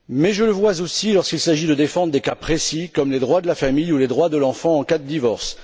Je le vois aussi, lorsqu'il s'agit de défendre des cas précis, comme les droits de la famille ou les droits de l'enfant en cas de divorce.